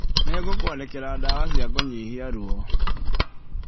Nĩngũkũandĩkĩra ndawa cia kũnyihia ruo.